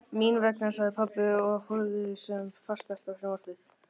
Mín vegna, sagði pabbi og horfði sem fastast á sjónvarpið.